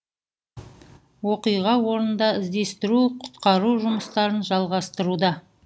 оқиға орнында іздестіру құтқару жұмыстарын жалғастыруда